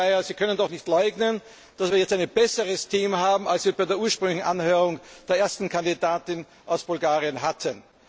Herr Kollege Szájer, Sie können doch nicht leugnen, dass wir jetzt ein besseres Team haben, als wir es bei der ursprünglichen Anhörung der ersten Kandidatin aus Bulgarien hatten.